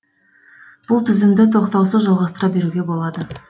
бұл тізімді тоқтаусыз жалғастыра беруге болады